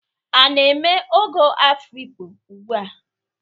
A na-eme ogo Afikpo ugbua?